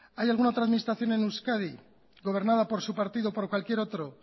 hay alguna otra administración en euskadi gobernada por su partido o por cualquier otro